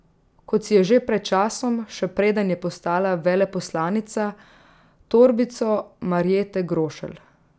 Kot si je že pred časom, še preden je postala veleposlanica, torbico Marjete Grošelj.